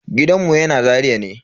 Gidanmu yana Zaria ne.